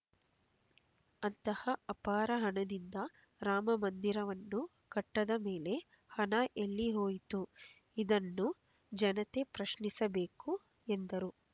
ಅಂತಹ ಅಪಾರ ಹಣದಿಂದ ರಾಮಮಂದಿರವನ್ನು ಕಟ್ಟದ ಮೇಲೆ ಹಣ ಎಲ್ಲಿ ಹೋಯಿತು ಇದನ್ನು ಜನತೆ ಪ್ರಶ್ನಿಸಬೇಕು ಎಂದರು